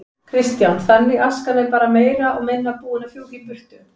Kristján: Þannig askan er bara meira og minna búin að fjúka í burtu?